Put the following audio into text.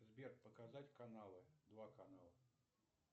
сбер показать каналы два канала